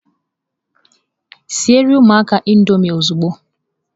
Siere ụmụaka Indọmịị ozugbo!